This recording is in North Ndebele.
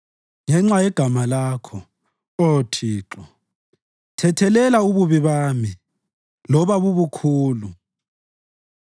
Ngenxa yegama Lakho, Oh Thixo, thethelela ububi bami, loba bubukhulu.